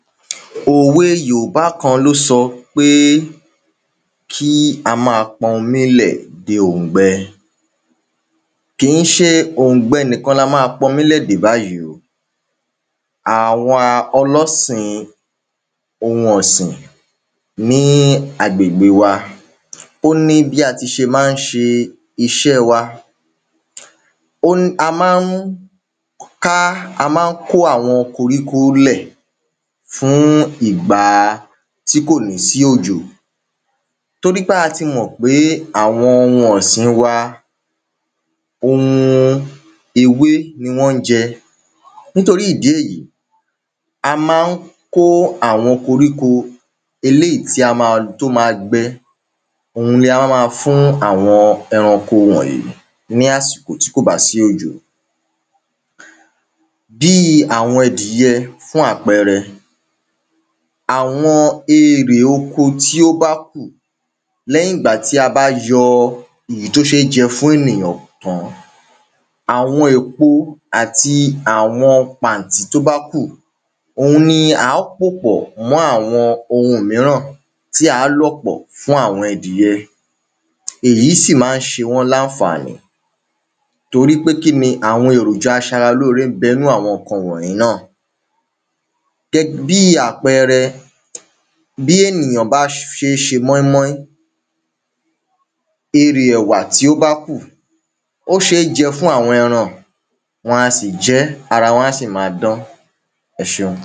Òwe yòbá kan ló sọ pé kí á má pọnmi lẹ̀ de òǹgbẹ kìí ṣe òǹgbẹ nìkan la má pọnmi lẹ̀ dè báyìí o. Àwa ọlọ́sìn ohun ọ̀sìn ní agbègbè wa ó ní bí a ti ṣe má ń ṣe iṣẹ́ wa ó a má ń ká a má ń kó àwọn koɹíko lẹ̀ fún ìgba tí kò ní sí òjò. Torípé a ti mọ̀ pé àwọn ohum ọ̀sìn wa ohun ewé ni wọ́n ń jẹ nítorí ìdí èyí a má ń kó àwọn koríko eléèyí tí a má tó má gbẹ òhun ni a wá má fún àwọn ẹranko wọ̀nyìí ní àsìkò tí kò bá si òjò. Bí àwọn ẹdìyẹ fún àpẹrẹ àwọn erè oko tí ó bá kù lẹ́yìn ìgbà tí a bá yọ èyí tí ó ṣé jẹ fún ènìyàn tán àwọn èpọ àti àwọn pàntí tó bá kù òhun ni á pòpọ̀ mọ́ àwọn ohun míràn tí á lọ̀ pọ̀ fún àwọn ẹdìyẹ èyí sì má ń ṣe wọ́n lánfàní torípé kíni àwọn èròjà aṣara lóore ń bẹ nínú àwọn nǹkan wọ̀nyìí náà gẹ́ bí àpẹrẹ bí ènìyàn bá ṣe móínmóín erè ẹ̀wà tí ó bá kù ó ṣé jẹ fún àwọn ẹran ẹran a sì jẹ́ ara wọn á sì má dán ẹṣeun.